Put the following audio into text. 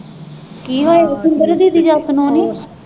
ਕੀ ਹੋਇਆ ਸ਼ਿੰਦਰ ਦੀਦੀ ਜੱਸ ਨੂੰ ਨੀਂ